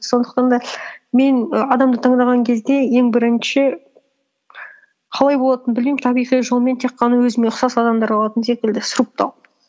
сондықтан да мен і адамды таңдаған кезде ең бірінші қалай болатынын білмеймін табиғи жолмен тек қана өзіме ұқсас адамдар қалатын секілді сұрыптау